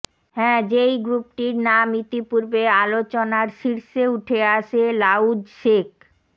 হ্যা যেই গ্রুপটির নাম ইতিপূর্বে আলোচনার শীর্ষে উঠে আসে লাউজসেক